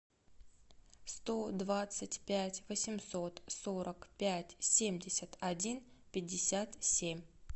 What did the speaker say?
сто двадцать пять восемьсот сорок пять семьдесят один пятьдесят семь